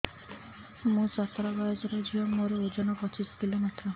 ମୁଁ ସତର ବୟସର ଝିଅ ମୋର ଓଜନ ପଚିଶି କିଲୋ ମାତ୍ର